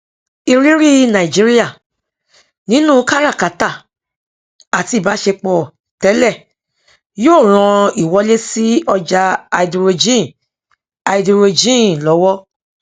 ìrírí nàìjíríà nínú káràkátà àti ìbásepọ tẹlẹ yóò ran ìwọlé sí ọjá háídírójìn háídírójìn lọwọ